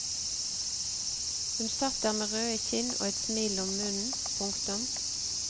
Hun satt der med røde kinn og et smil om munnen. punktum